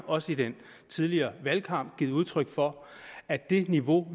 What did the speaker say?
også i den tidligere valgkamp givet udtryk for at det niveau